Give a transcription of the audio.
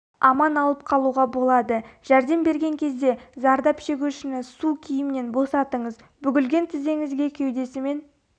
аман алып қалуға болады жәрдем берген кезде зардап шегушіні су киімнен босатыңыз бүгілген тізеңізге кеудесімен